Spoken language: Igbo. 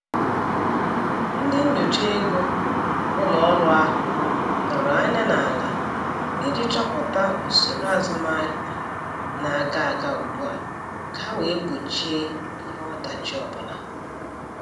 Ndị nyocha ego ụlọ ọrụ ahụ tọrọ anya n'ala iji chọpụta usoro azụmahịa na-aga aga ugbua ka ha wee gbochie ihe ọdachi ọbụla.